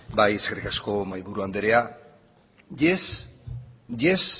bai eskerrik asko mahaiburu andrea yes yes